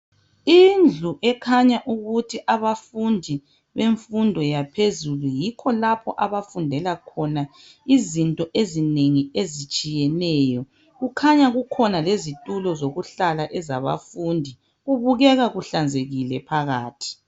Indlu ekhanya ukuthi abafundi bemfundo yaphezulu yikho lapho abafundela khona izinto ezinengi ezitshiyeneyo kukhanya kukhona lezitulo ezokuhlala ezabafundi. Kubukeka kuhlanzekile phakathi.